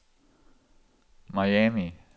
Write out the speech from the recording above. Miami